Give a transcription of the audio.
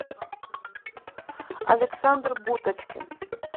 александр буточкин